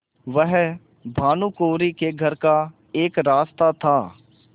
वह भानुकुँवरि के घर का एक रास्ता था